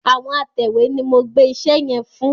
Àwọn atẹ̀wé ni mo gbẹ́ iṣẹ́ yẹn fún.